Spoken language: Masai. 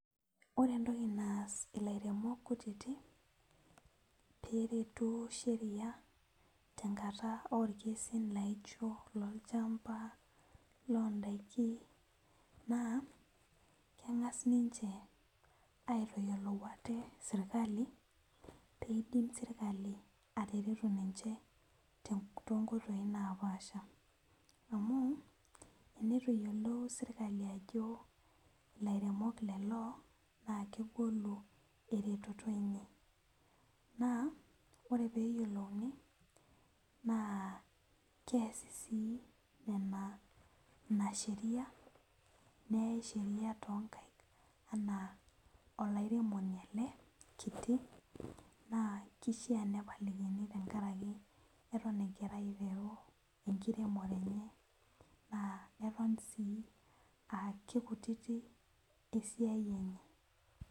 Ore entoki naas ilaremok kutitik peretu sheria tenkata orkesi laijo lo lchamba londakin na kengas ninche aitayiolo ate serkali peidim serkali atareto ninche tonkoitoi napaasha amu tenitu eyiolou serkali ajo ilairemok kulo na kegolu eretoto enye na ore peyiolouni na keasi si nonabsheria neyai sheria tonkaik ana olaremoni ele kitibna kishaa pepalikini tenkaraki eton egira aiteru enkiremore enye na Eton sii aa kekutitik esiai enye.